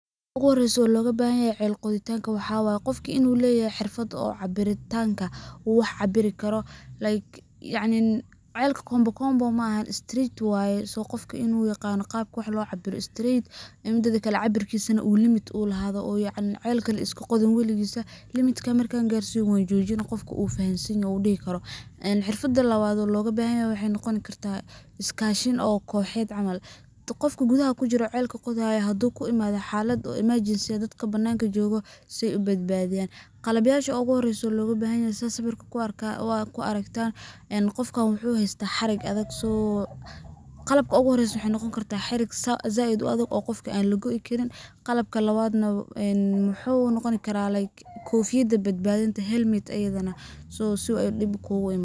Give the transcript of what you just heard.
Waxa uguhoreso logabahanyahay cel qoditanka waxaa waye qofka in uu leyahay xirfad oo cabiritanka uu wax cabiri karo [ca] like yacni celka kombokombo maahan streyt waye, so qofka in uu aqano qabka wax lo cabiro streyt. Midi kale na cabirkisa limit uu lahado uu yacni , celka laiskaqodin waligisa , limitka markan garsiyo wanjojinaah qofka uu fahansanyaho uu dihi karo. En xirfada lawad logabahnyaho waxay noqon kartah, iskashin oo koxeed camal , qofka gudaha kujiro celka qodayo hadu kuimadho xalad oo emergency si ay dadka bananka jogo si ay u badbadiyan. Qalabyasha uguhore mesha logabahanyaho sida sawirka ad kuaragtan qofka wuxu haystaah xarig adag so . Qalabka uguhoreyso waxay noqon kartah xarig zaid uadag an qofka lagoi karin. Qalabka lawad na een wuxu noqni karaah like kofiyada badbadinta helmet ayadhana so si ay dib kuguimanin.